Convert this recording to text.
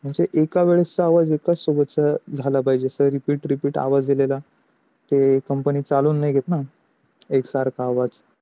म्हणजे एकास वेळेसचा आवाज एका सोबतचा झाला पाहिजे पाहिजे repeat repeat आवाज company चालवून नाहीं घेत ना, एक सरखा आवाज